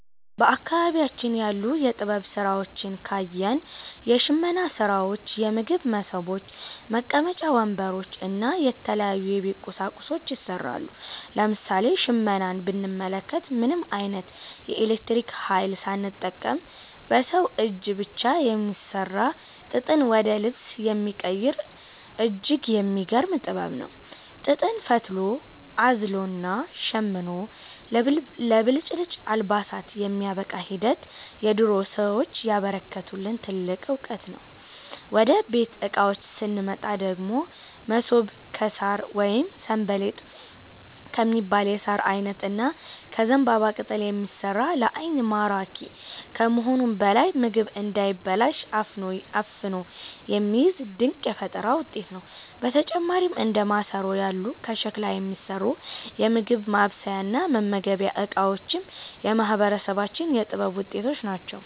በአካባቢያችን ያሉ የጥበብ ሥራዎችን ካየን፣ የሽመና ሥራዎች፣ የምግብ መሶቦች፣ መቀመጫ ወንበሮች እና የተለያዩ የቤት ቁሳቁሶች ይሠራሉ። ለምሳሌ ሽመናን ብንመለከት፣ ምንም ዓይነት የኤሌክትሪክ ኃይል ሳይጠቀም በሰው እጅ ብቻ የሚሠራ፣ ጥጥን ወደ ልብስ የሚቀይር እጅግ የሚገርም ጥበብ ነው። ጥጥን ፈትሎ፣ አዝሎና ሸምኖ ለብልጭልጭ አልባሳት የሚያበቃበት ሂደት የድሮ ሰዎች ያበረከቱልን ትልቅ ዕውቀት ነው። ወደ ቤት ዕቃዎች ስንመጣ ደግሞ፣ መሶብ ከሣር ወይም 'ሰንበሌጥ' ከሚባል የሣር ዓይነት እና ከዘንባባ ቅጠል የሚሠራ፣ ለዓይን ማራኪ ከመሆኑም በላይ ምግብ እንዳይበላሽ አፍኖ የሚይዝ ድንቅ የፈጠራ ውጤት ነው። በተጨማሪም እንደ ማሰሮ ያሉ ከሸክላ የሚሠሩ የምግብ ማብሰያና መመገቢያ ዕቃዎችም የማህበረሰባችን የጥበብ ውጤቶች ናቸው።